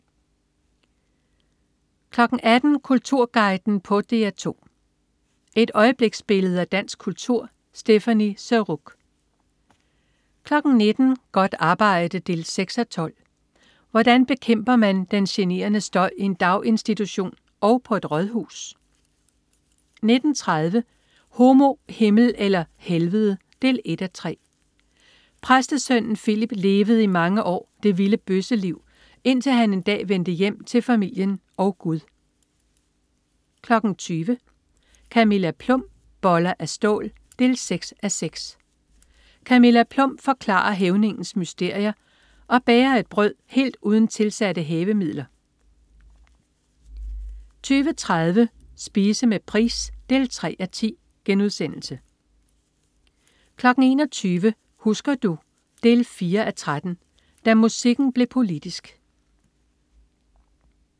18.00 Kulturguiden på DR2. Et øjebliksbillede af dansk kultur. Stéphanie Surrugue 19.00 Godt arbejde 6:12. Hvordan bekæmper man den generende støj i en daginstitution og på et rådhus? 19.30 Homo, Himmel eller Helvede 1:3. Præstesønnen Filip levede i mange år det vilde bøsseliv, indtil han en dag vendte hjem til familien og Gud 20.00 Camilla Plum. Boller af stål 6:6. Camilla Plum forklarer hævningens mysterier og bager et brød helt uden tilsatte hævemidler 20.30 Spise med Price 3:10* 21.00 Husker du? 4:13. Da musikken blev politisk